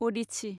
अदिस्सि